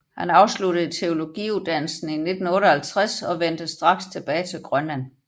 Han afsluttede teologiuddannelsen i 1958 og vendte straks tilbage til Grønland